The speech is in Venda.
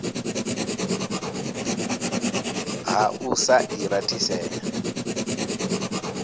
ha u sa i rathisela